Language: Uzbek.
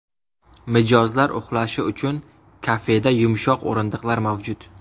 Mijozlar uxlashi uchun kafeda yumshoq o‘rindiqlar mavjud.